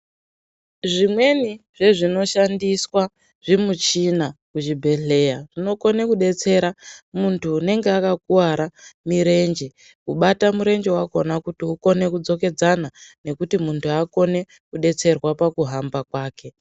Zvimweni zvezvino shandiswa zvimichina kuzvibhedhleya, zvinokona kudetsera muntu unenge akakuwara mirenje, kubata murenje wakona kuti ukone kudzokedzana, nokuti muntu akone kudetserwa pakuhamba kwake.